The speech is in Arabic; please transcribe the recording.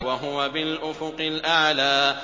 وَهُوَ بِالْأُفُقِ الْأَعْلَىٰ